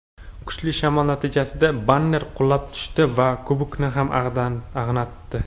kuchli shamol natijasida banner qulab tushdi va Kubokni ham ag‘anatdi.